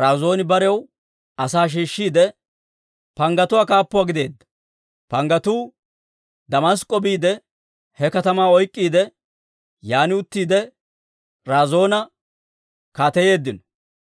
Razooni barew asaa shiishshiide, panggatuwaa kaappuwaa gideedda; panggatuu Damask'k'o biide, he katamaa oyk'k'iide, yaan uttiide, Razoona kaateyeeddino.